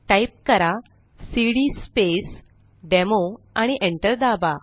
type करा cd space demo आणि Enter दाबा